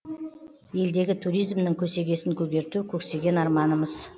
елдегі туризмнің көсегесін көгерту көксеген арманымыз